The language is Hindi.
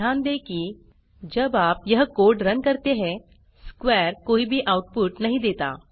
ध्यान दें कि जब आप यह कोड़ रन करते हैं स्क्वेयर कोई भी आउटपुट नहीं देता